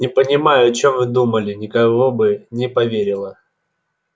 не понимаю о чем вы думали никого бы не поверила